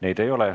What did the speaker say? Neid ei ole.